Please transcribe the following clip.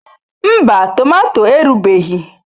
Mba tomato erubeghị.